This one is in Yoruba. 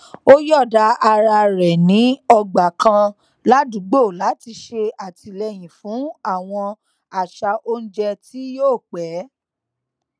ó yọọda ara rẹ ní ọgbà kan ládùúgbò láti ṣe àtìléyìn fún àwọn àṣà oúnjẹ tí yóò pẹ